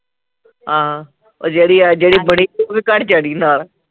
ਹਾਂ, ਉਹ ਜਿਹੜੀ ਜਿਹੜੀ ਬੜੀ ਘਰ ਨਾਲ